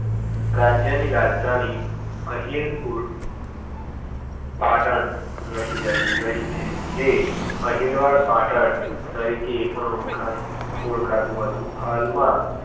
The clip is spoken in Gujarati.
રાજ્યની રાજધાની અણહિલપુર પાટણ રહીં રહીં છે અણહિલવાડ પાટણ તરીકે એ પણ ઓળખા ઓળખાતું હતું. હાલમાં